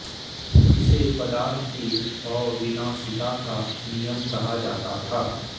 इसे पदार्थ की अविनाशिता का नियम कहा जाता था